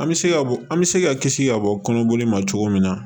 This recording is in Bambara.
An bɛ se ka bɔ an bɛ se ka kisi ka bɔ kɔnɔboli ma cogo min na